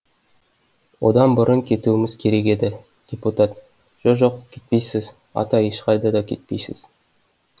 одан бұрын кетуіміз керек еді депутат жо жоқ кетпейсіз ата ешқайда да кетпейсіз